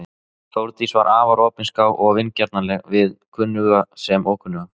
Þórdís var afar opinská og vingjarnleg við kunnuga sem ókunnuga.